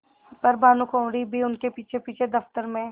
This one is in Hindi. पर भानुकुँवरि भी उनके पीछेपीछे दफ्तर में